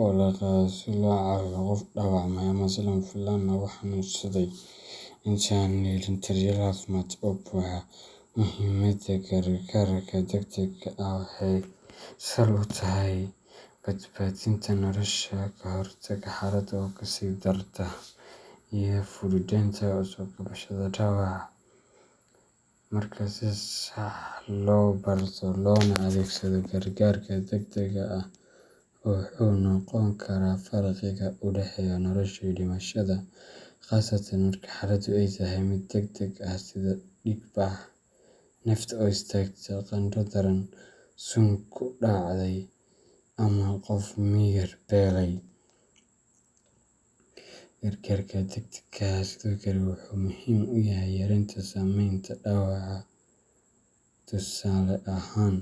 oo la qaado si loo caawiyo qof dhaawacmay ama si lama filaan ah u xanuunsaday, inta aan la helin daryeel caafimaad oo buuxa. Muhimadda gargaarka degdega ah waxay sal u tahay badbaadinta nolosha, ka hortagga xaaladda oo kasii dari karta, iyo fududeynta soo kabashada dhaawaca. Marka si sax ah loo barto loona adeegsado, gargaarka degdega ah wuxuu noqon karaa farqiga u dhexeeya nolosha iyo dhimashada, khaasatan marka xaaladdu ay tahay mid degdeg ah sida dhiigbax, neefta oo istaagta, qandho daran, sun ku dhacday, ama qof miyir beelay. Gargaarka degdega ah sidoo kale wuxuu muhiim u yahay yareynta saameynta dhaawaca. Tusaale ahaan,